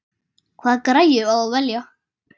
Hvaða græju á að velja?